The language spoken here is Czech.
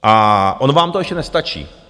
A ono vám to ještě nestačí.